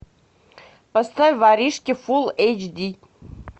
поставь воришки фулл эйч ди